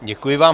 Děkuji vám.